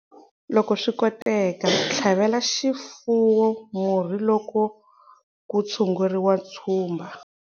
Loko swi koteka, tlhavela xifuwo murhi loko ku tshunguriwa tshumba.